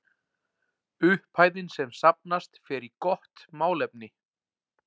Upphæðin sem safnast fer í gott málefni.